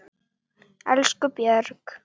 Elsku Björg.